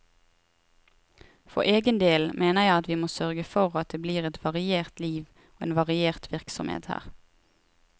For egen del mener jeg at vi må sørge for at det blir et variert liv og en variert virksomhet her.